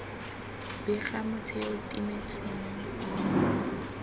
bega motho yo o timetseng